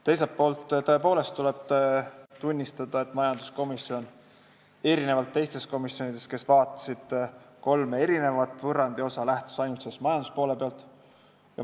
Teiselt poolt, tõepoolest, tuleb tunnistada, et majanduskomisjon erinevalt teistest komisjonidest, kes vaatasid kolme võrrandiosa, lähtus ainult majanduspoolest.